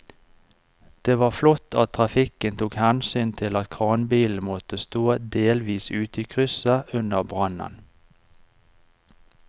Det var flott at trafikken tok hensyn til at kranbilen måtte stå delvis ute i krysset under brannen.